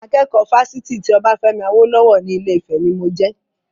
Akẹ́kọ̀ọ́ Fásitì ti Obafemi Awolowo ni Ilé-Ifè ni mo jẹ.